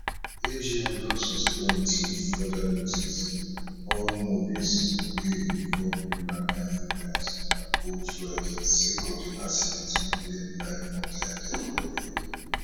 agn don suspend till further notice all movies wey involve rivenine areas and boat riding sake of di accident wey claim lives of dia dia colleagues